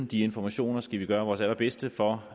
de informationer skal vi gøre vores allerbedste for